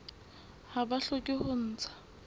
ha ba hloke ho ntsha